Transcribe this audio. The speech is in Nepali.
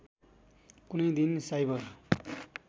कुनै दिन साइबर